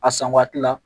A san waati la